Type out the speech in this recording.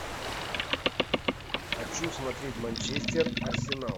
хочу смотреть манчестер арсенал